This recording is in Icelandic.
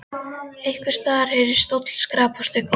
Einhvers staðar heyrðist stóll skrapast við gólf.